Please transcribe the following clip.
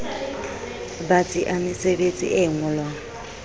batsi a mesebetsi e ngolwang